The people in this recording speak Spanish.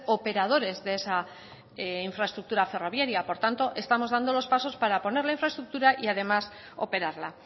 operadores de esa infraestructura ferroviaria por tanto estamos dando los pasos para poner la infraestructura y además operarla